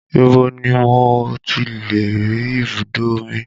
Ibo ni mo tilè rí ibùdó omi?